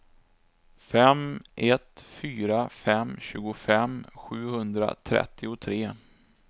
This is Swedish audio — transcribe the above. fem ett fyra fem tjugofem sjuhundratrettiotre